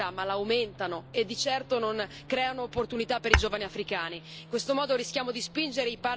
Queste politiche non sradicano la povertà, ma l'aumentano, e di certo non creano opportunità per i giovani africani.